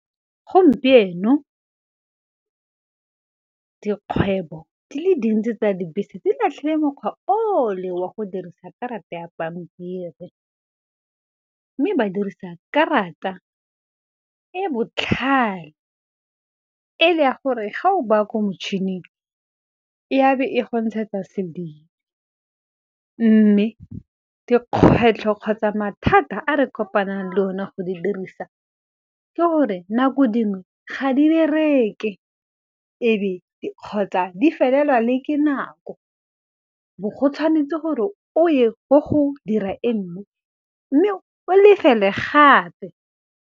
Gompieno dikgwebo di le dintsi tsa dibese di latlhile mekgwa o le wa go dirisa karata ya pampiri. Mme ba dirisa karata e botlhale, e le ya gore ga o baa ko motšhining, e a be e go ntshetsa . Mme dikgwetlho kgotsa mathata a re kopanang le one go di dirisa, ke gore nako dingwe ga di bereke, kgotsa di felelwa le ke nako, bo go tshwanetse gore o ye ko go dira e nngwe mme o lefele gape.